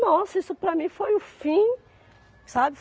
Nossa, isso para mim foi o fim, sabe?